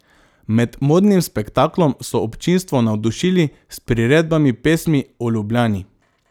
Med modnim spektaklom so občinstvo navdušili s priredbami pesmi o Ljubljani.